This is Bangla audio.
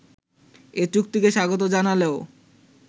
এ চুক্তিকে স্বাগত জানালেও